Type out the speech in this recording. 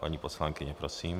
Paní poslankyně, prosím.